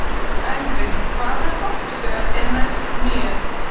Elvin, hvaða stoppistöð er næst mér?